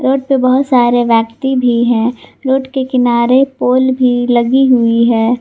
Road बहुत सारे व्यक्ति भी है रोड के किनारे पल भी लगी हुई है।